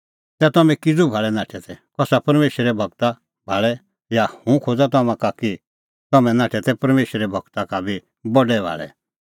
तै तम्हैं किज़ू भाल़ै नाठै तै कसा परमेशरे गूरा भाल़ै हाँ हुंह खोज़ा तम्हां का कि तम्हैं नाठै तै परमेशरे गूरा का बी बडै भाल़ै